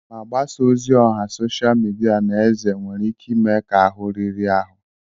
Magbasa ozi ọha sosha mịdịa na eze nwere ike ime ka ahụ riri ahụ.